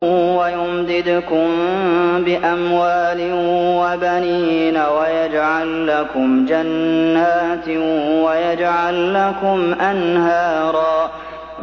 وَيُمْدِدْكُم بِأَمْوَالٍ وَبَنِينَ وَيَجْعَل لَّكُمْ جَنَّاتٍ وَيَجْعَل لَّكُمْ أَنْهَارًا